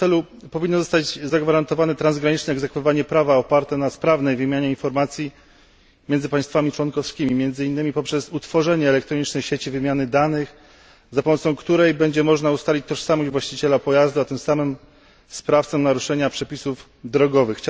W tym celu powinno zostać zagwarantowane transgraniczne egzekwowanie prawa oparte na sprawnej wymianie informacji między państwami członkowskimi, między innymi poprzez utworzenie elektronicznej sieci wymiany danych, za pomocą której będzie można ustalić tożsamość właściciela pojazdu, a tym samym sprawcę naruszenia przepisów drogowych.